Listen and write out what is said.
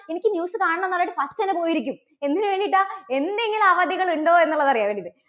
എനിക്ക് news കാണണം എന്ന് പറഞ്ഞിട്ട് first തന്നെ പോയി ഇരിക്കും. എന്തിനുവേണ്ടീട്ടാ? എന്തെങ്കിലും അവധികൾ ഉണ്ടോ എന്നുള്ളത് അറിയാൻ വേണ്ടിയിട്ട്.